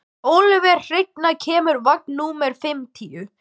Ölvir, hvenær kemur vagn númer fimmtíu?